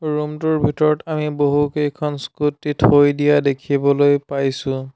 ৰুমটোৰ ভিতৰত আমি বহুকেইখন স্কুটি থৈ দিয়া দেখিবলৈ পাইছোঁ।